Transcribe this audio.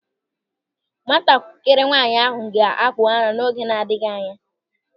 Nwatakịrị nwaanyị ahụ ga-akpụ ara n'oge na-adịghị anya.